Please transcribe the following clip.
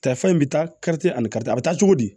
in bɛ taa ani karite a bɛ taa cogo di